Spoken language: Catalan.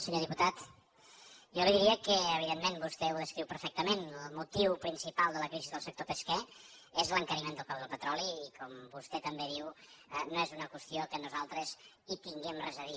senyor diputat jo li diria que evidentment vostè ho descriu perfectament el motiu principal de la crisi del sector pesquer és l’encariment del preu del petroli i com vostè també diu no és una qüestió que nosaltres hi tinguem res a dir